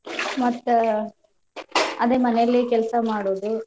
ಮತ್ತ್ ಅದೇ ಮನೇಲಿ ಕೆಲ್ಸಾ ಮಾಡುದು .